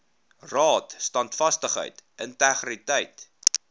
raad standvastigheid integriteit